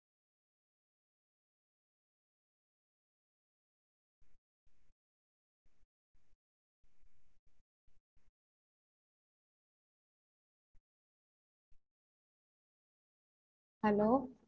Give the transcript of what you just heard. Hello